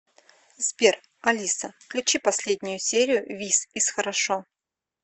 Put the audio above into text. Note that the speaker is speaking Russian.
сбер алиса включи последнюю серию вис из хорошо